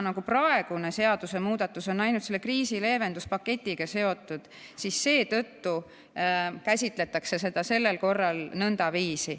Praegune seadusemuudatus on ainult kriisileevenduspaketiga seotud ja seetõttu käsitletakse seda sellel korral nõndaviisi.